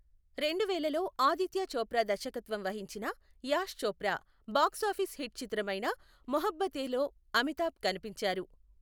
రెండువేలలో ఆదిత్య చోప్రా దర్శకత్వం వహించిన Yash Chopra box office hit చిత్రమైన మొహబ్బతేలో అమితాబ్ కనిపించారు.